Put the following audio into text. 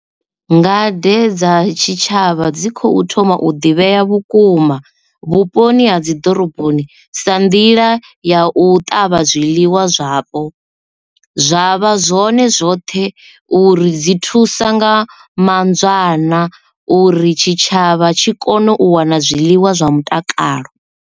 Ngade dza tshitshavha dzi khou thoma u ḓivhea vhukuma vhuponi ha dzi ḓoroboni sa nḓila ya u ṱavha zwiḽiwa zwapo zwavha zwone zwoṱhe uri dzi thusa nga manzwana uri tshitshavha tshi kone u wana zwiḽiwa zwa mutakalo.